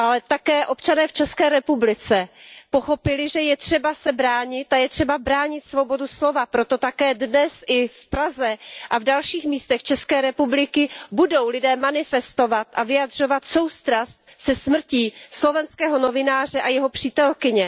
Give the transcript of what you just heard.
Také občané v České republice pochopili, že je třeba se bránit a je třeba bránit svobodu slova, proto také dnes v Praze a na dalších místech České republiky budou lidé manifestovat a vyjadřovat soustrast se smrtí slovenského novináře a jeho přítelkyně.